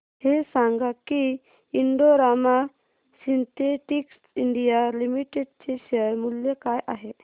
हे सांगा की Indo Rama synthetics India limited चे शेअर मूल्य काय आहे